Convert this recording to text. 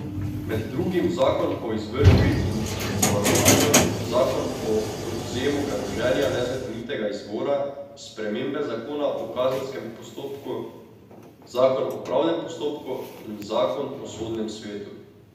Med drugim zakon o izvršbi in zavarovanju, zakon o odvzemu premoženja nezakonitega izvora, spremembe zakona o kazenskem postopku, zakon o pravdnem postopku in zakon o sodnem svetu.